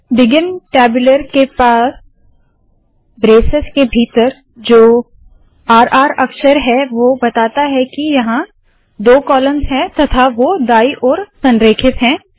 begin tabular के पास braces के भीतर जो र र अक्षर है वोह बताता है के यहाँ दो कॉलम्स है तथा वो दाईं ओर संरेखित है